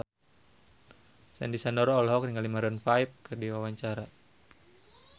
Sandy Sandoro olohok ningali Maroon 5 keur diwawancara